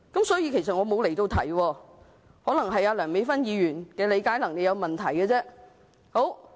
所以我其實沒有離題，可能只是梁美芬議員的理解能力有問題。